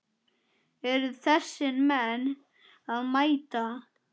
Eru þessir menn að mæta?